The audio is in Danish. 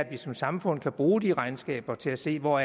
at vi som samfund kan bruge de regnskaber til at se hvor